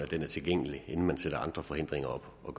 den er tilgængelig inden man sætter andre forhindringer op og